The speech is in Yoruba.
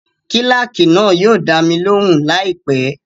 Kílákì náà yóò dá mi lóhùn láìpẹ́